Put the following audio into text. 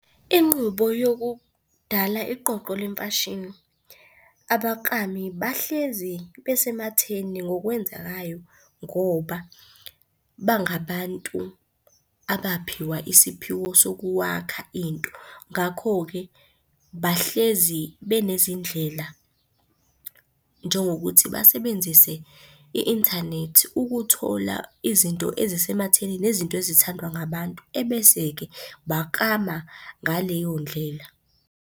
Inqubo yokudala iqoqo lemfashini. Abaklami bahlezi besematheni ngokwenzekayo ngoba bangabantu abaphiwa isiphiwo sokuwakha into. Ngakho-ke, bahlezi benezindlela njengokuthi basebenzise i-inthanethi ukuthola izinto ezisematheni nezinto ezithandwa ngabantu, ebese-ke baklama ngaleyo ndlela.